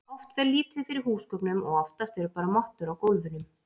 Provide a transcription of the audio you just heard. Oft fer lítið fyrir húsgögnum og oftast eru bara mottur á gólfunum.